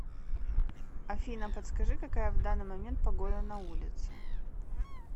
афина подскажи какая в данный момент погода на улице